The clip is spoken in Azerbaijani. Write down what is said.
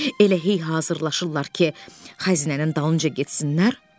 Elə hey hazırlanırlar ki, xəzinənin dalınca getsinlər,